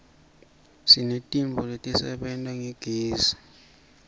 sinetintfo letisebenta ngagezi